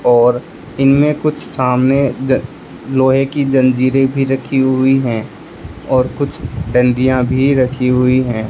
और इनमें कुछ सामने लोहे की जंजीरें भी रखी हुई है और कुछ डांडिया भी रखी हुई है।